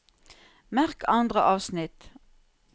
Merk andre avsnitt